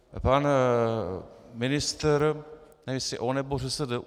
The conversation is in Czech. Pan ministr - nevím, jestli on nebo ŘSD?